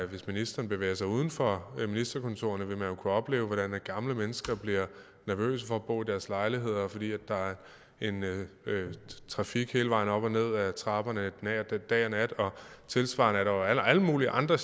hvis ministeren bevæger sig uden for ministerkontoret vil han jo kunne opleve hvordan gamle mennesker bliver nervøse for at bo i deres lejlighed fordi der er en trafik hele vejen op og ned ad trapperne dag og nat og tilsvarende er der jo alle mulige andre